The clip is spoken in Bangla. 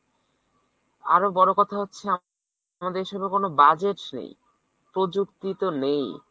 আবার বড় কথা হচ্ছে আমাদের দেশে কোনো budget নেই, প্রযুক্তি তো নেই।